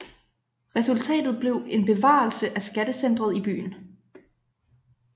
Resultatet blev en bevarelse af skattecentret i byen